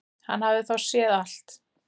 Hann hafði þá séð allt!